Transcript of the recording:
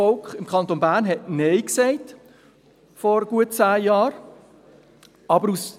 Im Kanton Bern hat das Volk vor gut zehn Jahren Nein gesagt.